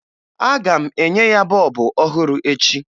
Aga m enye ya bọọbụ ọhụrụ echi